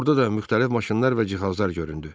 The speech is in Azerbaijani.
Orda da müxtəlif maşınlar və cihazlar göründü.